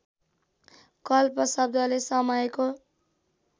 कल्प शब्दले समयको